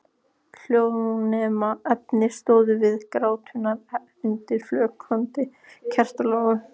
Hjónaefnin stóðu við gráturnar undir flöktandi kertalogum.